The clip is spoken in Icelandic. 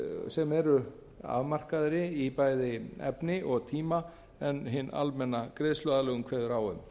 sem eru afmarkaðri í bæði efni og tíma en hin almenna greiðsluaðlögun kveður á